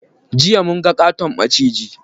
Jiya munga ƙaton maciji.